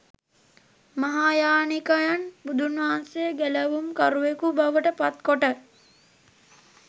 මහායානිකයන් බුදුන්වහන්සේ ගැලවුම් කරුවෙකු බවට පත් කොට